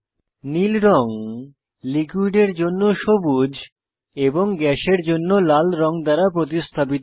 নীল রঙ লিকুইডের জন্য সবুজ এবং গ্যাসের জন্য লাল রঙ দ্বারা প্রতিস্থাপিত হয়